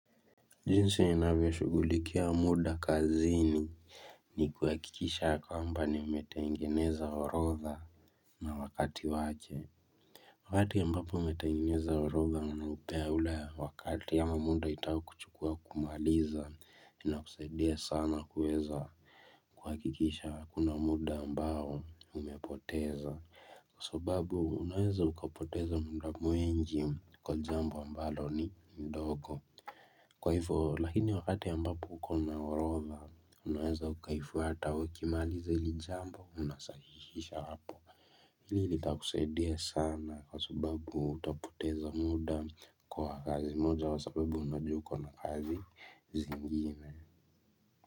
Jinsi ya inavyo shughulikia muda kazinini kuhakikisha ya kwamba nimetengeneza orotha na wakati wake. Wakati ambapo umetengeneza orotha unaupea ule wakati ama muda itakuchukua kumaliza na kusaidia sana kuweza kuhakikisha hakuna muda ambao umepoteza. Kwa sababu unawenza ukapoteza muda mwingi kwa jambo ambalo ni ndogo. Kwa hivo, lakini wakati ambapo ukona orotha, unaweza ukaifuata ukimaliza hili jambo unasahishisha hapo. Hili litakusaidia sana kwa sababu utapoteza muda kwa kazi moja kwa sababu unajua uko na kazi zingine.